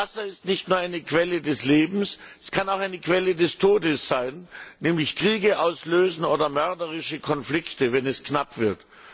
Wasser ist nicht nur eine Quelle des Lebens, es kann auch eine Quelle des Todes sein, nämlich Kriege auslösen oder mörderische Konflikte, wenn es knapp wird.